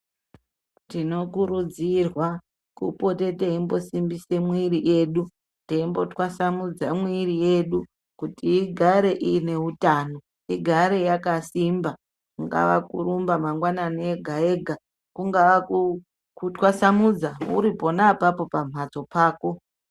Tinokurudzirwa kupote teimbosimbise mwiri yedu, teimbotwasamudza mwiri yedu, kuti igare iine utano, igare yakasimba, kungava kurumba mangwanani ega-ega, kungaa kutwasamudza ,uri pona apapo pamhatso pako.